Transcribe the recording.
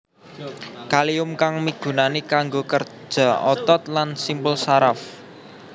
Kalium kang migunani kanggo kerja otot lan simpul saraf